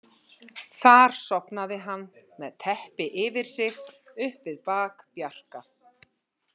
Þar sofnaði hann, með teppi yfir sig, upp við bak Bjarka.